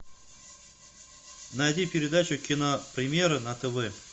найди передачу кинопремьеры на тв